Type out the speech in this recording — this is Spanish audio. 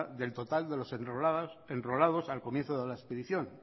del total de los enrolados al comienzo de la expedición